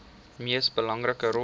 mees belangrike rol